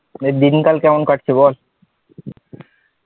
নিয়ে দিনকাল কেমন কাটছে বল?